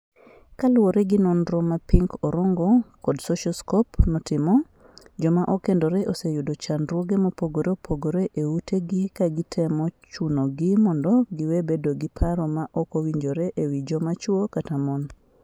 Kaluwore gi nonro ma Pink Orongo kod Socioscope notimo, joma okendore oseyudo chandruoge mopogore opogore e utegi ka gitemo chunogi mondo giwe bedo gi paro ma ok owinjore e wi joma chwo kata mon.